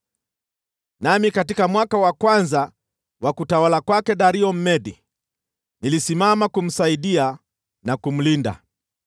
Nami katika mwaka wa kwanza wa utawala wa Dario Mmedi, nilisimama kumsaidia na kumlinda.)